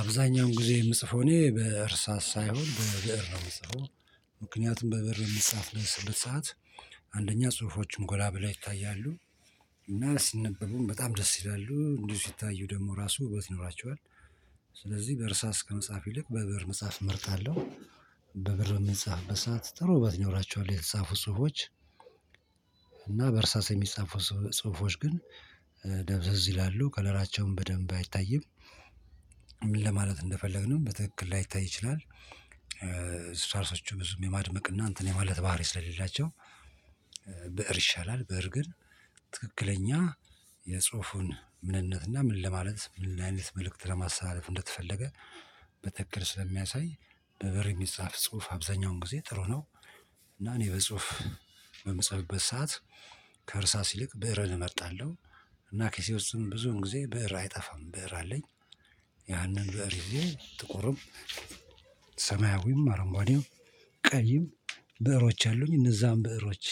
አብዛኛውን ጊዜ የምጽፈው እኔ በእርሳስ ሳይሆን በብእር ነው የምጽፈው። ምክንያቱም በብእር የሚጻፍበት ሰዓት አንደኛ ጽሁፎችም ጎላ ብላ ይታያሉ። እና ሲነበቡም በጣም ደስ ይላሉ እንዲሁ ሲታዩ ደግሞ ራሱ ውበት ይኖራቸዋል። ስለዚህ በእርሳስ ከመጽሐፍ ይልቅ በብእር መጽሐፍ እመርጣለሁ። በብእር የሚጻፍ በሰአት ጥሩ ውበት ኖራችኋለሁ የተጻፉ ጽህፎች። እና በእርሳሴ የሚጻፉ ጽሁፎች ግን ደብዘዝ ይላሉ ከለራቸውን በደንብ አይታይም። ለማለት እንደፈለግንም በትክክል ላይታይ ይችላል። እርሳሶቹ ብዙም የማድመቅና እንትን የማለት ባህሪ ስለሌላቸው ብእር ይሻላል። ብእር ግን ትክክለኛ የጽሁፉን ምንነትና ምን ለማለት ምን አይነት መልእክት ለማሰላለፍ እንደተፈለገ በተክክል ስለሚያሳይ በብእር የሚጻፍ ጽሁፍ አብዛኛውን ጊዜ ጥሩ ነው። እና እኔ በጽሁፍ በምጸልበት ሰዓት ከእርሳስ ይልቅ ብእርን እመጣለሁ እና ኪሴ ውስጥም ብዙን ጊዜ ብእር አይጠፋም ብእር አለኝ። ያንን ዘርዬ ጥቁርም ሰማያዊም አረምጓዴም ቀይም ብዕሮች አሉኝ እነዛን ብእሮች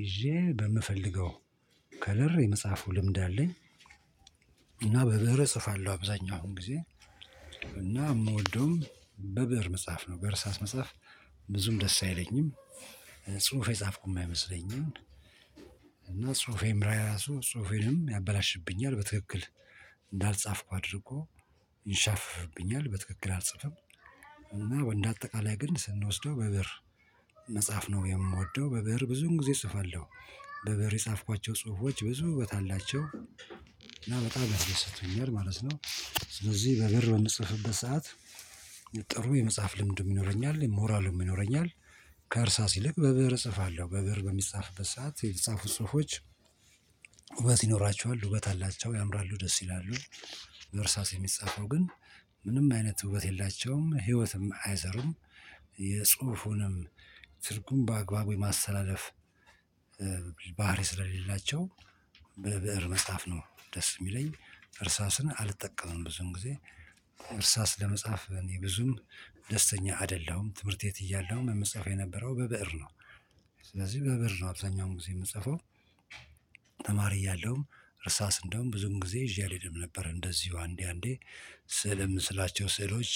ይዤ በምፈልገው ከለር የመጽሐፉ ልምድ አለኝ። በብእር እጽፋለሁ አብዛኛው ጊዜ እና የምወደውም በብእር መጽሐፍ በርሳስ መጽሐፍ ብዙም ደስ አይለኝም። ጽሁፍ የጻፍኩ የማይመስለኝም እና ጽሁፌም ራሱ ጽሁፌንም ያበላሽብኛል በትክክል እንዳልጻፍኩ አድርጎ። በትክክል አልጽፍም። እና ወንድ አጠቃላይ ግን ስንወስደው በብእር መጽሐፍ ነው የምወደው በብእር ብዙን ጊዜ እጽፋለሁ። በብእር የጻፍኳቸው ጽሁፎች ብዙ ውበት አላቸው። እና በጣም ያስደስቱኛል ማለት ነው። ስለዚህ በብእር በምንጽፍበት ሰዓት ጥሩ የመጽሐፍ ልምድ ይኖረኛል ሞራሉም ይኖረኛል። ከእርሳ ይልቅ በብእር እጽፋለሁ በብእር በሚጻፍበት ሰዓት የተጻፉጽህፎች ውበት ይኖራቸዋል ውበት አላቸው ያምራሉ ደስ ይላሉ። እርሳስ የሚጻፈው ግን ምንም አይነት ውበት የላቸውም ህይወትም አይዘሩም። የጽሁፉንም ትርጉም በአግባቡ የማሰተላለፍ ባህሪ ስለሌላቸው። በብእር መጻፍ ነው ደስ የሚለኝ። እርሳስን አልጠቀምም ብዙም ጊዜ እርሳስ ለመጻፍ እኔ ብዙም ደስተኛ አይደለም ትምህርት የት እያለህም የምትጽፈው የነበረው በብእር ነው። ስለዚህ በብእር ነው አብዛኛውን ጊዜ የምጽፈው። ተማሪ እያለሁም እርሳስ እንደውም ብዙም ጊዜ ይዤ አልሄድም ነበር እንደዚሁ አንዴ አንዴ ስልም ምስላቸው ስዕሎች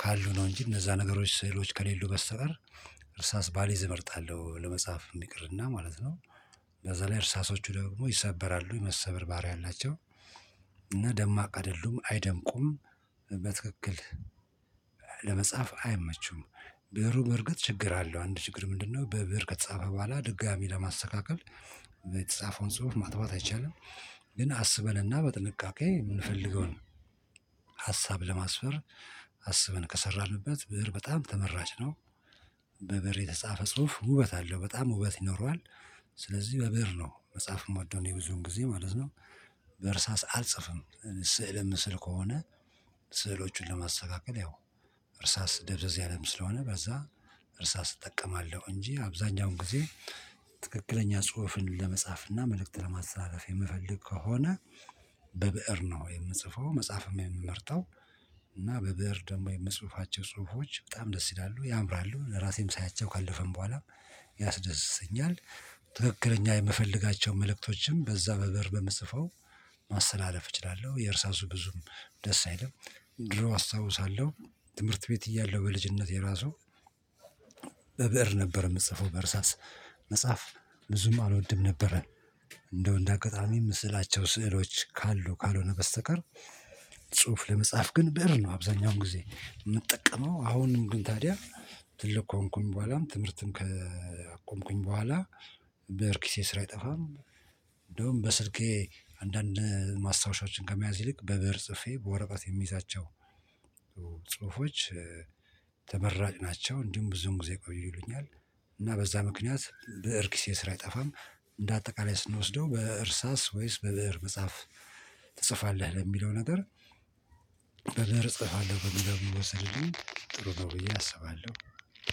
ካሉ ነው እንጂ እነዛ ነገሮች ስዕሎች ከሌሉ በስተቀር እርሳስ ባሌዝ እመርጣለሁ ለመጽሐፍ እንዲ ይቅርና ማለት ነው። በዛ ላይ እርሳሶቹ ደግሞ ይሰበራሉ የመሰበርባሪያ አላቸው። እና ደማቅ አይደሉም አይደምቁም። በትክክል ለመጻፍ አይመቹም። ብዕሩ በርግጥ ችግር አለው አንድ ችግር ምንድነው? በብእር ከተጻፈ በኋላ ድጋሚ ለማስተካከል ጽሁፍ ማጥፋት አይቻልም። ግን አስበንና በጥንቃቄ የምንፈልገውን ሀሳብ ለማስፈር አስበን ከሰራንበት ብእር በጣም ተመራጭ ነው። በብእር የተጻፈ ጽሁፍ ውበት አለው በጣም ውበት ይኖረዋል። ስለዚህ በብእር ነው መጽሐፍ ምወደው ብዙን ጊዜ ማለት ነው። በእርሳስ አልጽፍም። ስዕል ምስል ከሆነ ስዕሎቹን ለማስተካከል ያው እርሳስ ደብዘዝ ያለም ስለሆነ በዛ እርሳስ እጠቀማለሁ እንጂ አብዛኛውን ጊዜ ትክክለኛ ጽሁፍን ለመጻፍና መልእክት ለማሳረፍ የምፈልግ ከሆነ በብእር ነው የምጽፈው። መጽሐፍም የምመርጠው እና በብእር ደግሞ የመስህፋቸው ጽሁፎች በጣም ደስ ይላሉ ያምራሉ ለራሴም ሳያቸው ካለፈን በኋላም ያስደስተኛል። ትክክለኛ የምፈልጋቸውን መልእክቶችን በዛ በብእር በምትጽፈው ማሰተላለፍ እችላለሁ። የእርሳሱ ብዙም ደስ አይልም። ድሮ አስታውሳለሁ ትምህርት ቤት እያለሁ በልጅነት የራሱ በብእር ነበር የምትጽፈው በእርሳስ መጽሐፍ ብዙም አልወድም ነበረ። እንደው እንደ አጋጣሚ ምስላቸው ስዕሎች ካሉ ካልሆነ በስተቀር። ጽሁፍ ለመጻፍ ግን ብእር ነው አብዛኛውን ጊዜ የምጠቀመው። አሁንም ግን ታዲያ ትልቅ ከሆንኩኝ በኋላም ትምህርትን ከቆምኩኝ በኋላ በእርኪሴ ስራ አይጠፋም። እንደውም በስልኬ አንዳንድ ማስታወሻዎችን ከመያዝ ይልቅ በብእር ጽፌ በወረቃት የሚይዛቸው ጽሁፎች ተመራጭ ናቸው። እንዲሁም ብዙውን ጊዜ ቆይሉኛል። እና በዛ ምክንያት በእርክስ የሰራ አይጠፋም። እንደ አጠቃላይ ስንወስደው በእርሳስ ወይስ በብእር መጽሐፍ ትጽፋለህ? ለሚለው ነገር በብእር እጽፋለሁ በሚለው ቢወሰድልኝ ጥሩ ነው ብዬ አስባለሁ።